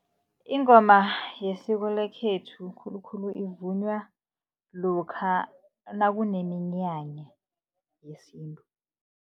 Ingoma yesiko lekhethu khulukhulu ivunywa lokha nakuneminyanya yesintu.